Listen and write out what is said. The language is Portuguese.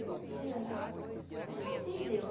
E um dia lá, eu sozinha, Deus.